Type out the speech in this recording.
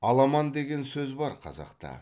аламан деген сөз бар қазақта